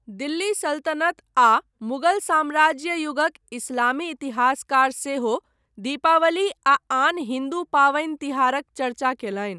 दिल्ली सल्तनत आ मुगल साम्राज्य युगक इस्लामी इतिहासकार सेहो दीपावली आ आन हिन्दू पावनि तिहारक चर्चा कयलनि।